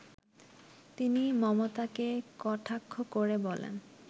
তিনি মমতাকে কটাক্ষ করে বলেন